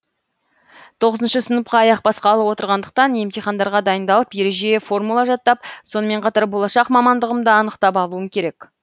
тоғызыншы сыныпқа аяқ басқалы отырғандықтан емтихандарға дайындалып ереже формула жаттап сонымен қатар болашақ мамандығымды анықтап алуым керек